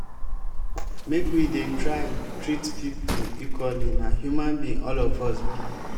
make we dey try treat pipo equally na human being all of us be.